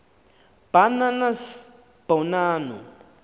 ba nanas bonanno